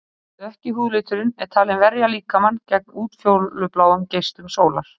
Dökki húðliturinn er talinn verja líkamann gegn útfjólubláum geislum sólar.